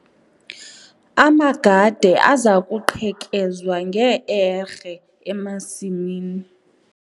Amagade aza kuqhekezwa nge-erhe emasimini.